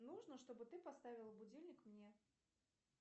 нужно чтобы ты поставил будильник мне